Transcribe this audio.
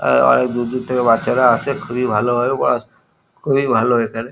আ আ অনেক দূর দূর থেকে বাচ্চারা আসে খুবই ভালো ভাবে পড়াশো খুবই ভালো এখানে ।